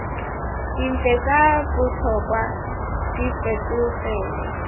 dintlha tsa botlhokwa di fetogele